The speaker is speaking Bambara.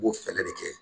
U b'o fɛɛrɛ de kɛ